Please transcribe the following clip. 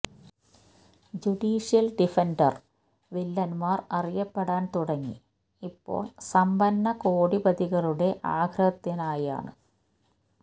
judicial defender വില്ലന്മാർ അറിയപ്പെടാൻ തുടങ്ങി ഇപ്പോൾ സമ്പന്ന കോടിപതികളുടെ ആഗ്രഹത്തിനായാണു്